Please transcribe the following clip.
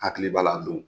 Hakili b'a la don